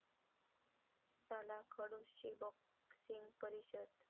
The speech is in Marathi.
साला खडूस'ची 'बॉक्सिंग' परिषद